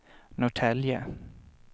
Norrtälje